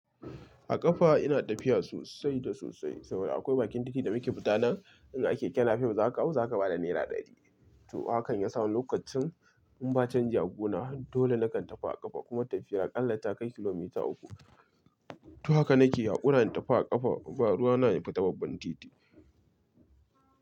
A ƙafa ina tafiya sosai da sosai saboda akwai bakin titi da muke fita nan, in a keke nape za ka hau za ka bada nera ɗari. To hakan ya sa wani lokacin in ba canji a guna dole nakan tafi a ƙafa kuma tafiyar akalla ta kai kilomita uku. To haka nake hakura in tafi a ƙafa ba ruwa na in fita babban titi.